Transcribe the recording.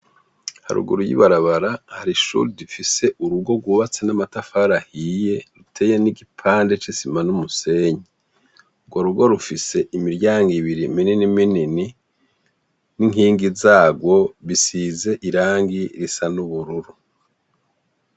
Haruguru yibarabara, hari ishure rifise urugo rwubatse n'amatafari ahiye iteye nigipande c'isima n'umusenyi urwo rugo rifise imiryango ibiri minini minini ninkingi zarwo bisize irangi risa nubururu.